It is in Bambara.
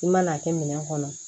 I man'a kɛ minɛn kɔnɔ